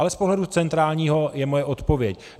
Ale z pohledu centrálního je moje odpověď.